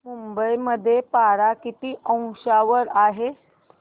मुंबई मध्ये पारा किती अंशावर आहे